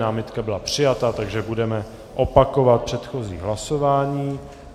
Námitka byla přijata, takže budeme opakovat předchozí hlasování.